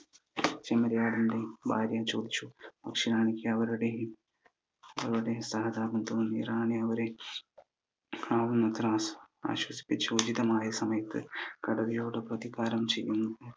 ചെമ്മരിയാടിന്റെ ഭാര്യ ചോദിച്ചു റാണിക്ക് അവരുടെയും അവരോട് സഹതാപം തോന്നി റാണി അവരെ ആവുന്നത്ര ആ ആശ്വസിപ്പിച്ചു ഉചിതമായ സമയത് കടുവയോട് പ്രതികാരം ചെയ്യൂ